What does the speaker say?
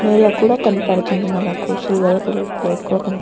నేల కూడా కనపడుతుంది. సిల్వర్ కలర్ ప్లేట్ కూడా కనపడుతుంది.